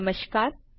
નમસ્કાર સ્વાગત છે